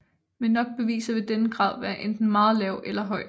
Med nok beviser vil denne grad være enten meget lav eller høj